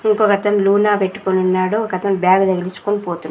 ఇంకొకతను లూనా పెట్టుకొనున్నాడు ఒకతను బ్యాగు తగిలిచ్చుకొని పోతు--